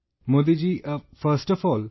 Modi ji, first of all,